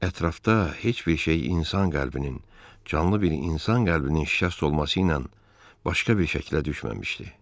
Ətrafda heç bir şey insan qəlbinin, canlı bir insan qəlbinin şikəst olması ilə başqa bir şəklə düşməmişdi.